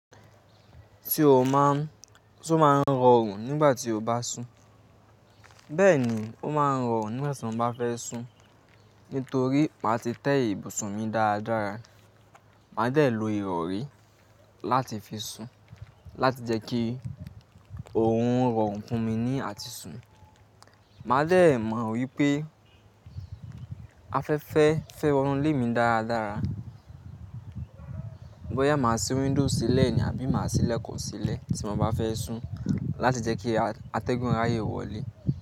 Ti o máa ń, Se ó máa ń rọrùn nígbà tí o bá sùn. Bẹ́ẹ̀ ni ó máa ń rọrùn nígbà tí mo bá fẹ́ sùn. Nítorí màá ti tẹ́ ibùsùn mi dáradára. Màá dẹ̀ lo ìrọ̀rí láti fi sùn láti jẹ́ kí òun rọrùn fún mi ní àti sùn. Màá dẹ̀ mọ̀ wípé afẹ́fẹ́ fẹ́ wọnú lé mi dáradára. Bóyá màá ṣí window sílẹ̀ ní àbí máa ṣí ilekun sílẹ̀ tí mo bá fẹ́ sùn láti jẹ́ kí atẹ́gùn ráyé wọlé.